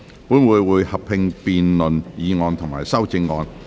本會會合併辯論議案及修正案。